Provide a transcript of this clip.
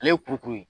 Ale ye kurukuru ye